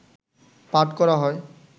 পাঠ করা হয়